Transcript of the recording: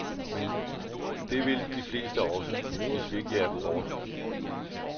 Men det vil de fleste også, hvis vi ikke jager dem bort.